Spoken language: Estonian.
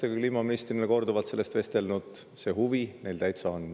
Olen ise kliimaministrina korduvalt sakslastega sellest vestelnud, see huvi neil täitsa on.